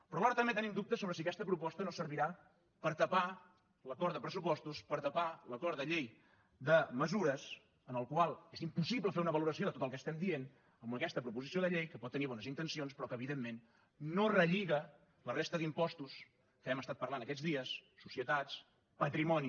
però alhora també tenim dubtes sobre si aquesta proposta no deu servir per tapar l’acord de pressupostos per tapar l’acord de la llei de mesures en el qual és impossible fer una valoració de tot el que estem dient en aquesta proposició de llei que pot tenir bones intencions però que evidentment no relliga la resta d’impostos que hem estat parlant aquests dies societats patrimoni